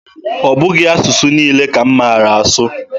Ọ bụghị asụsụ niile ka m maara asụ.